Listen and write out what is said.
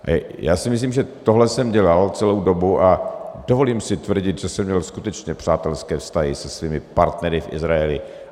Já si myslím, že tohle jsem dělal celou dobu, a dovolím si tvrdit, že jsem měl skutečně přátelské vztahy se svými partnery v Izraeli.